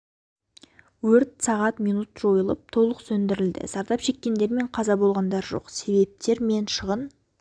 өрт сағат минут жойылып толық сөндірілді зардап шеккендер мен қаза болғандар жоқ себептер мен шығын